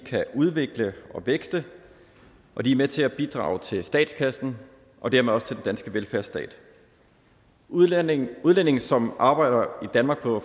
kan udvikle og vækste og de er med til at bidrage til statskassen og dermed også til den danske velfærdsstat udlændinge udlændinge som arbejder i danmark på